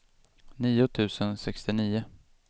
nio tusen sextionio